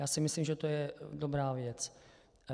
Já si myslím, že to je dobrá věc.